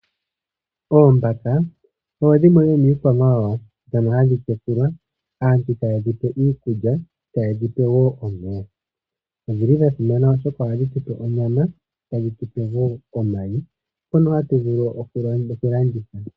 Oombaka odho dhimwe dhomiikwamawawa dhono hadhi tekulwa, aantu taye dhipe iikulya, taye dhipe wo omeya. Odhi li dha simana oshoka oha dhi tu pe onyama, ta dhi tu pe wo omayi ngono ha tu vulu okulanditha.